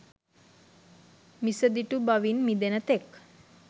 මිසදිටු බවින් මිදෙන තෙක්